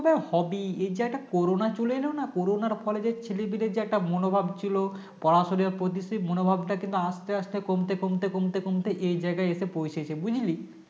হবে এইযে একটা Corona চলে এল না corona র ফলে যে ছেলে পিলের যে একটা মনোভাব ছিল পড়াশুনার প্রতি সেই মনোভাবটা কিন্তু আস্তে আস্তে কমতে কমতে কমতে কমতে এই জায়গায় এসে পৌঁছেছে বুঝলি